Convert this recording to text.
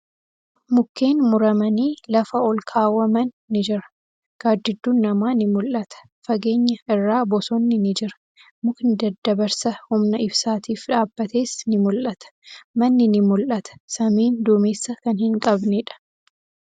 Mukkeen muramanii lafa olkaawwaman ni jira. Gaaddidduun namaa ni mul'ata. Fageenya irraa bosonni ni jira. Mukni daddabarsa humna ibsaatif dhaabbates ni mul'ata. Manni ni mul'ata. Samiin dumeessa kan hin qabneedha.